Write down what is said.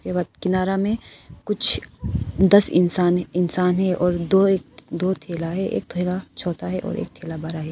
किनारा में कुछ दस इंसान है और दो थैला है एक थैला छोटा है और एक थैला बड़ा है।